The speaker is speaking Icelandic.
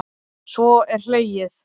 Svo er hlegið.